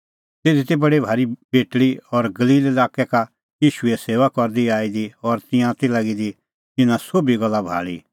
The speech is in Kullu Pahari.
तिधी ती बडी भारी बेटल़ी बी गलील लाक्कै का ईशूए सेऊआ करदी आई दी और तिंयां ती लागी दी इना सोभी गल्ला भाल़ी